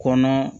Kɔnɔ